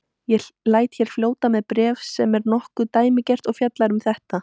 Ég læt hér fljóta með bréf sem er nokkuð dæmigert og fjallar um þetta